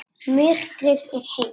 Myrkrið er heitt.